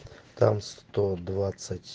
там сто двадцать